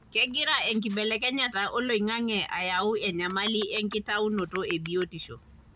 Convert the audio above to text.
kengira enkibelekenyata oloingange ayau enyamali enkitaunoto ebiotisho.